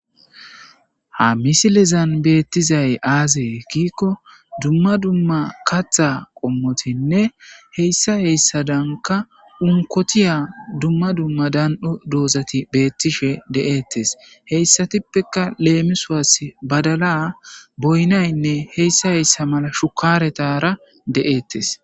Ha misilezan betey azze gikko dumma dumma katha qomotinne hayssa hayssakka unkotiya dumma dumma dan'o dozati betishe dosonna hesatuppe lemisos badala boyna shukaretara deyetes